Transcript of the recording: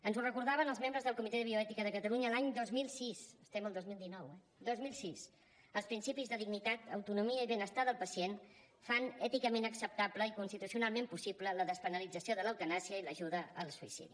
ens ho recordaven els membres del comitè de bioètica de catalunya l’any dos mil sis estem al dos mil dinou eh dos mil sis els principis de dignitat autonomia i benestar del pacient fan èticament acceptable i constitucionalment possible la despenalització de l’eutanàsia i l’ajuda al suïcidi